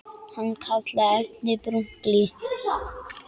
Hann kallaði efnið brúnt blý.